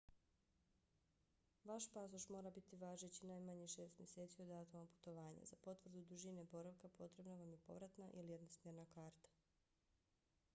vaš pasoš mora biti važeći najmanje šest mjeseci od datuma putovanja. za potvrdu dužine boravka potrebna vam je povratna ili jednosmjerna karta